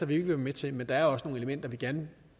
vil være med til men der er også nogle elementer vi gerne